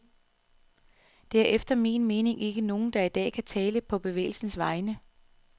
Der er efter min mening ikke nogen, der i dag kan tale på på bevægelsens vegne.